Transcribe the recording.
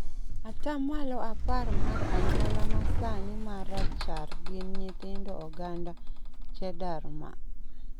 atamalo apar mar anyuola ma sani ma rachar gin nyithind oganda Cheddar Man.